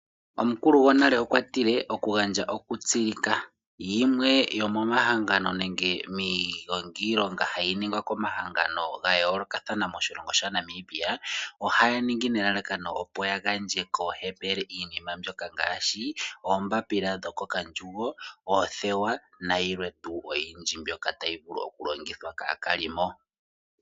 Omukulu gonale okwa tile okugandja oku tsilika. Limwe lyomo mahangano nenge miigongiilonga hayi ningwa komahangano ga yoolokathana moshilongo shaNamibia, ohaya ningi nelalakano opo ya gandje koohepele iinima mbyoka ngaashi oombapila dhoko kandjugo, oothewa na yilwe tuu oyindji mbyoka tayi vulu oku longithwa kaakalimo.